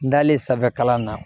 N dalen sanfɛ kalan na